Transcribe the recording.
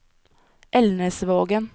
Elnesvågen